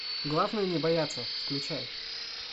главное не бояться включай